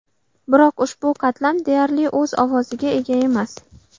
Biroq ushbu qatlam deyarli o‘z ovoziga ega emas.